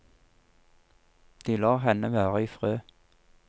De lar henne være i fred.